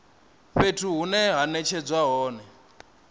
fhethu hune ha netshedzwa hone